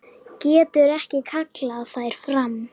Getur ekki kallað þær fram.